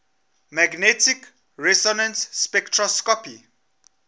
magnetic resonance spectroscopy